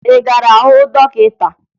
Ị gara hụ dọkịta?